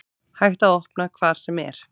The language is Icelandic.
Hægt að opna hvar sem er